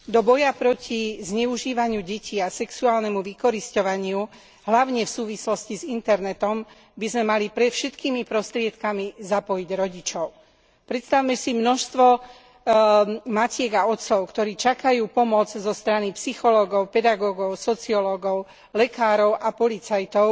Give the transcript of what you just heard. Do boja proti zneužívaniu detí a sexuálnemu vykorisťovaniu, hlavne v súvislosti s internetom, by sme mali všetkými prostriedkami zapojiť rodičov. Predstavme si množstvo matiek a otcov, ktorí čakajú pomoc zo strany psychológov, pedagógov, sociológov, lekárov a policajtov,